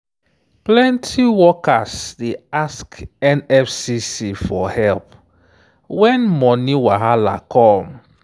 plenty workers dey ask nfcc for help when money wahala come.